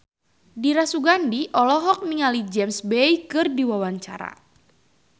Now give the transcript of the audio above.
Dira Sugandi olohok ningali James Bay keur diwawancara